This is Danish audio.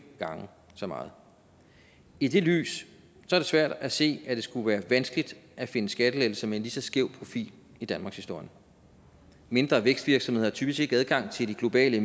gange så meget i det lys er det svært at se at det skulle være vanskeligt at finde skattelettelser med en lige så skæv profil i danmarkshistorien mindre vækstvirksomheder har typisk ikke adgang til de globale